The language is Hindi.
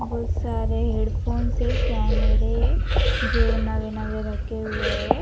बहुत सारे हेडफोन से कैमरे जो नवे नवे रखे हुए है।